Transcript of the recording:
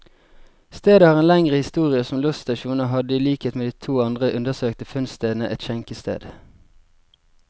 Stedet har en lengre historie som losstasjon, og hadde i likhet med de to andre undersøkte funnstedene, et skjenkested.